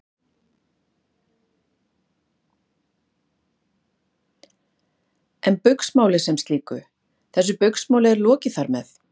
Haukur: En Baugsmáli sem slíku, þessu Baugsmáli er lokið þar með?